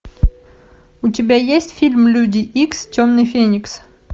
у тебя есть фильм люди икс темный феникс